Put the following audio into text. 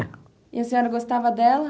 E a senhora gostava dela?